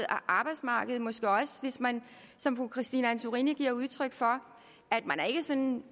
arbejdsmarkedet hvis man som fru christine antorini giver udtryk for ikke sådan